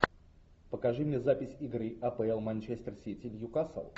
покажи мне запись игры апл манчестер сити ньюкасл